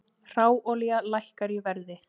Hráolía lækkar í verði